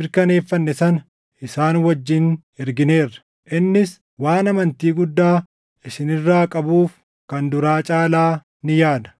mirkaneeffanne sana isaan wajjin ergineerra; innis waan amantii guddaa isin irraa qabuuf kan duraa caalaa ni yaada.